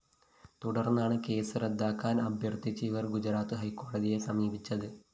തുടര്‍ന്നാണ് കേസ് റദ്ദാക്കാന്‍ അഭ്യര്‍ഥിച്ച് ഇവര്‍ ഗുജറാത്ത് ഹൈക്കോടതിയെ സമീപിച്ചത്